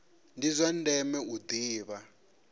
ndi zwa ndeme u ḓivha